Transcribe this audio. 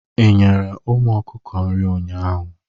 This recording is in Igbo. Ị nyere ụmụ ọkụkọ nri ụnyaahụ?